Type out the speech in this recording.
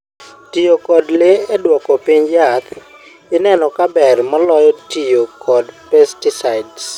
tiyo kod le eduoko piny jaath ineno kaaber moloyo tiyo kod pesticides